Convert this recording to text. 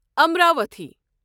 Amravati